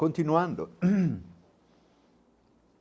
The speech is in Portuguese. Continuando.